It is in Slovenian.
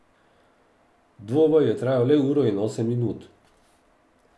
Dvoboj je trajal le uro in osem minut.